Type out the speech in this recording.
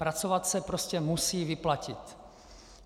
Pracovat se prostě musí vyplatit.